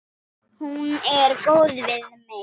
Hún er góð við mig.